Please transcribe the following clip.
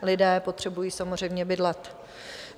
Lidé potřebují samozřejmě bydlet.